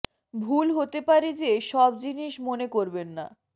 ভুল হতে পারে যে সব জিনিষ মনে করবেন না